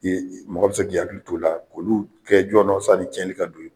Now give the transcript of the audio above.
mɔgɔ bi se k'i hakili t'o la, k'olu kɛ jɔɔnɔ sani tiɲɛli ka don i k .